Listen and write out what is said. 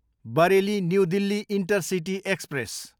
Bareilly, new Delhi intercity express